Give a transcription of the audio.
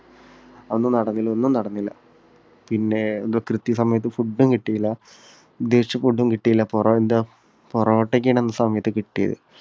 യാതൊന്നും നടന്നില്ല. ഒന്നും നടന്നില്ല. പിന്നെ എന്തോ കൃത്യസമയത്ത് food ഉം കിട്ടിയില്ല. ഉദ്ദേശിച്ച food ഉം കിട്ടിയില്ല പൊറോട്ടയൊക്കെയാണ് ആ സമയത്ത് കിട്ടിയത്.